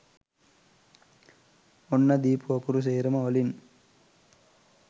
ඔන්න දීපු අකුරු සේරම වලින්